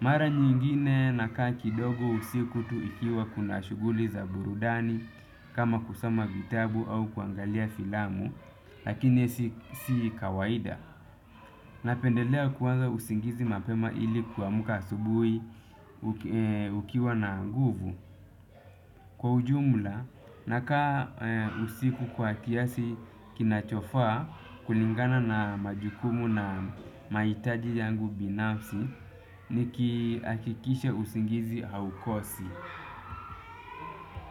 Mara nyingine nakaa kidogo usiku tukiwa na shughuli za burudani kama kusoma vitabu au kuangalia filamu lakini si kawaida. Napendelea kuanza usingizi mapema ili kuamka asubuhi ukiwa na nguvu. Kwa ujumla, nakaa usiku kwa kiasi kinachofaa kulingana na majukumu na mahitaji yangu binafsi nikihakikisha usingizi haukosi.